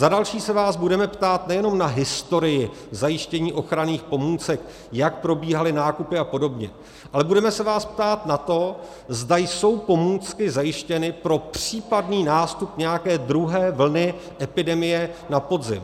Za další se vás budeme ptát nejenom na historii zajištění ochranných pomůcek, jak probíhaly nákupy a podobně, ale budeme se vás ptát na to, zda jsou pomůcky zajištěny pro případný nástup nějaké druhé vlny epidemie na podzim.